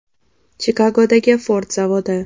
Chikagodagi Ford zavodi.